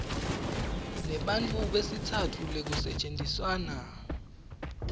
nebantfu besitsatfu lekusetjentiswana